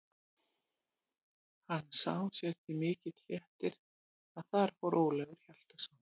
Hann sá sér til mikils léttis að þar fór Ólafur Hjaltason.